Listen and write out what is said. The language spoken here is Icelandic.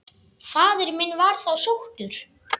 Faðir minn var þá sóttur.